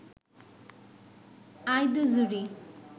I the jury